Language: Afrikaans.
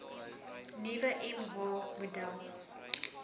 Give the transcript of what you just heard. nuwe mh model